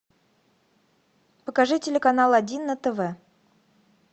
покажи телеканал один на тв